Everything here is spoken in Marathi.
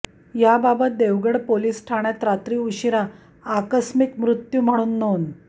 याबाबत देवगड पोलीस ठाण्यात रात्री उशिरा आकस्मिक मृत्यू म्हणून नोंद